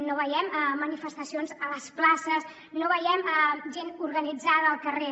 no veiem manifestacions a les places no veiem gent organitzada al carrer